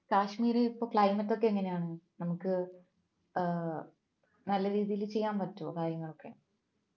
കാശ്മീർ ഇപ്പോ climate ഒക്കെ എങ്ങനെയാണ് നമുക്ക് നല്ല രീതിയിൽ ചെയ്യാൻ പറ്റുവോ കാര്യങ്ങളൊക്കെ